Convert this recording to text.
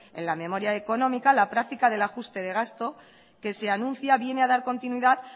en la memoria económica la práctica del ajuste de gasto que se anuncia viene a dar continuidad